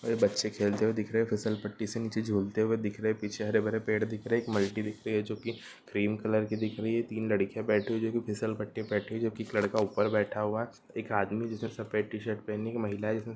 बच्चे खेलते हुए दि रहे हैं फिसल पट्टी से नीचे झूलते हुऐ दिख रहे है पीछे हरे भरे पेड़ दिख रहा है एक मल्टी दिख रही है जो क्रीम कलर की है तीन लकड़ियाँ बैठी हुई है जो पट्टी पर बैठी हुई है पर बैठी हुई है एक लड़का ऊपर बैठा हुआ है एक आदमी जिसने सफेद टी शर्ट महिला जिसने --